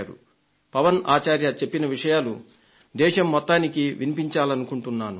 శ్రీ పవన్ ఆచార్య చెప్పిన విషయాలు దేశం మొత్తానికి వినిపించాలనుకుంటున్నాను